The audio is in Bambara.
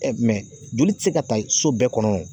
joli tɛ se ka ta so bɛɛ kɔnɔ